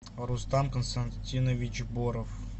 рустам константинович боров